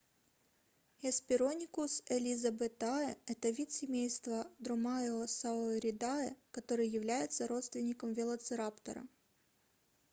hesperonychus elizabethae это вид семейства dromaeosauridae который является родственником велоцираптора